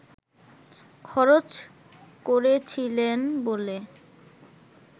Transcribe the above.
খরচ করেছিলেন বলে